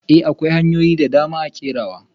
I! akwai hanyoyin dadama a kerawa.